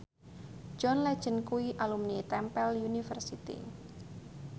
John Legend kuwi alumni Temple University